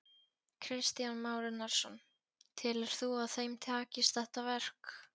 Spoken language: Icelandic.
Kristján Már Unnarsson: Telur þú að þeim takist þetta verk?